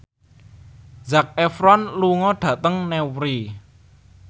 Zac Efron lunga dhateng Newry